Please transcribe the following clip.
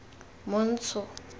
montsho